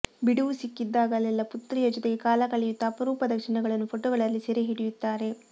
ಬಿಡುವು ಸಿಕ್ಕಿದಾಗಲೆಲ್ಲಾ ಪುತ್ರಿಯ ಜೊತೆಗೆ ಕಾಲ ಕಳೆಯುತ್ತಾ ಅಪರೂಪದ ಕ್ಷಣಗಳನ್ನು ಫೋಟೊಗಳಲ್ಲಿ ಸೆರೆ ಹಿಡಿಯುತ್ತಾರೆ